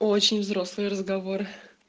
очень взрослые разговоры